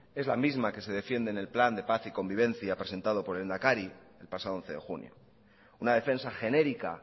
es la misma que se defiende en el plan de paz y convivencia presentado por el lehendakari el pasado once de junio una defensa genérica